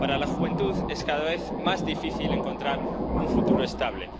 Para la juventud es cada vez más difícil encontrar un futuro estable.